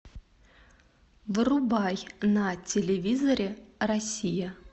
врубай на телевизоре россия